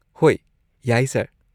ꯍꯣꯏ, ꯌꯥꯏ, ꯁꯔ꯫